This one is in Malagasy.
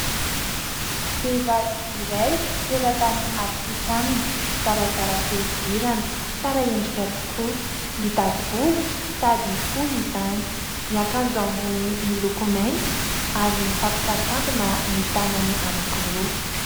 Vehivavy iray teratany afrikanina, zarazara fihodirana, tsara endrika tokoa, ngita volo sady fohy izany, miakanjo ambony miloko mainty ary mifampisakambina ny tanany anakiroa.